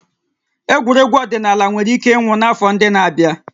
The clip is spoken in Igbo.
Egwuregwu ọdịnala nwere ike ịnwụ n'afọ ndị na-abịa